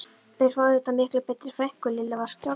Þeir fá auðvitað miklu betri frænku, Lilla var skjálfrödduð.